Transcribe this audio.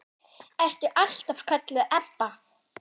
Ertu alltaf kölluð Ebba?